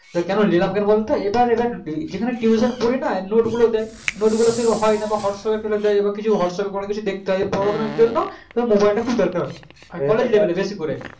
কারণ নিলাম কেন বল তো ইটা যেটা সেখানে যেখানে tuition পড়িনা note গুলো দেয় note গুলো সেইরকম হয়না whatsapp এ ফেলে দেয় কিছু whatsapp এ সব দেখতে পাবে পরবর্তী জন্য mobile তা খুব দরকার